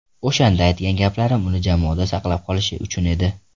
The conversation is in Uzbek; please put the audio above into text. O‘shanda aytgan gaplarim uni jamoada saqlab qolish uchun edi.